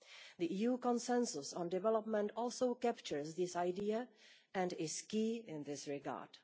The EU Consensus on Development also captures this idea and is key in this regard.